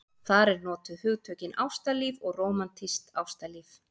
Þar eru notuð hugtökin ástalíf og rómantískt ástalíf.